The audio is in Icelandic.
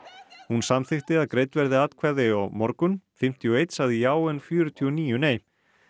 hún samþykkti að greidd verði atkvæði á morgun fimmtíu og einn sagði já en fjörutíu og níu nei